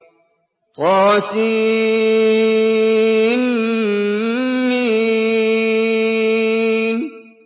طسم